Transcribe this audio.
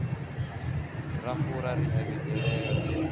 ra fura ri a vhidzelela